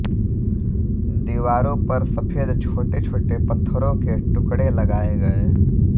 दीवारों पर सफ़ेद छोटेछोटे पत्थरों के टुकड़े लगाए गए